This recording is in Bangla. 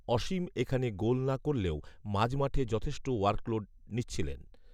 অসীম এখানে গোল না করলেও মাঝমাঠে যথেষ্ট ওয়ার্ক লোড নিচ্ছিলেন